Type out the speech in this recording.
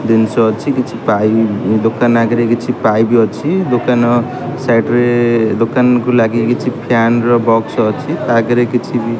ଦିନିସ ଅଛି କିଛି ପାଇପି ଦୋକାନ ଆଗରେ କିଛି ପାଇପି ଅଛି ଦୋକାନ ସାଇଟ୍ ରେ ଦୋକାନ କୁ ଲାଗି କିଛି ଫ୍ୟାନ ର ବକ୍ସ ଅଛି ତା ଆଗରେ କିଛି ବି।